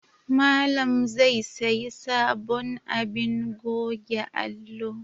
Malam zai sayi sabon abin goge alo